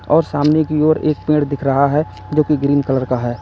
और सामने की ओर एक पेड़ दिख रहा है जो कि ग्रीन कलर का है।